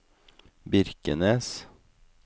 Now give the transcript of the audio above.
Birkenes